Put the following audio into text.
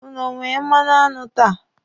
Ụnụ o nwere mmanụaṅụ taa?